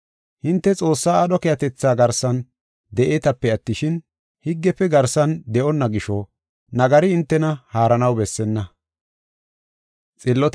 Hinte Xoossaa aadho keehatetha garsan de7eetape attishin, higgefe garsan de7onna gisho nagari hintena haaranaw bessenna.